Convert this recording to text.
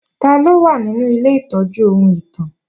Taló wà nínú ilé ìtọ́jú ohun ìtàn?